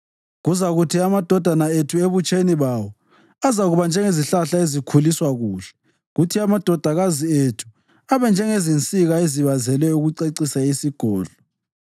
Kuzakuthi amadodana ethu ebutsheni bawo azakuba njengezihlahla ezikhuliswa kuhle, kuthi amadodakazi ethu abe njengezinsika ezibazelwe ukucecisa isigodlo.